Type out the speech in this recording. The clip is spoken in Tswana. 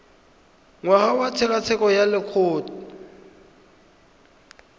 ngwaga wa tshekatsheko ya lokgetho